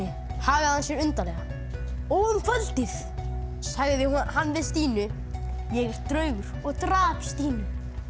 hagaði hann sér undarlega og um kvöldið sagði hann við Stínu ég er draugur og drap Stínu